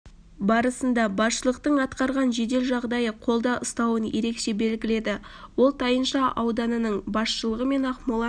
барысында басшылықтын атқарған жедел жағдайды қолда ұстауын ерекеше белгіледі ол тайынша ауданының басшылығы мен ақмола